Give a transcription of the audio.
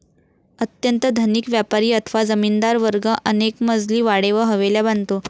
अत्यंत धनिक व्यापारी अथवा जमीनदार वर्ग अनेकमजली वाडे व हवेल्या बांधतो.